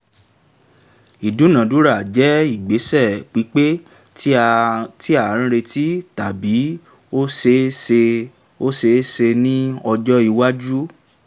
ìdúnadúrà jẹ́ ìgbésẹ̀ pípé tí a retí tàbí ó ṣeé ṣe ó ṣeé ṣe ní ọjọ́ iwájú